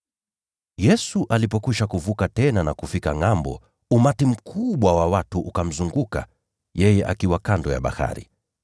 Yesu alipokwisha kuvuka tena na kufika ngʼambo, umati mkubwa wa watu ukamzunguka yeye akiwa hapo kando ya bahari.